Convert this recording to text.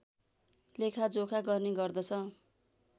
लेखा जोखा गर्ने गर्दछ